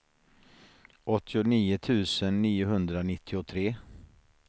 åttionio tusen niohundranittiotre